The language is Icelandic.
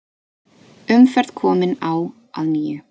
Umferð komin á að nýju